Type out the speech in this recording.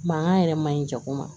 Mankan yɛrɛ man ɲi jago ma